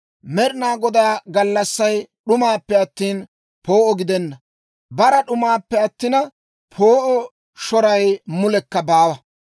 Med'inaa Godaa gallassay d'umaappe attina, poo'o gidenna; bara d'umaappe attina, poo'o shoray mulekka baawa!